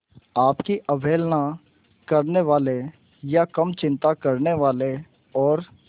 आपकी अवहेलना करने वाले या कम चिंता करने वाले और